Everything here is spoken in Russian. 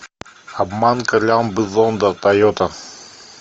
обманка лямбда зонда тойота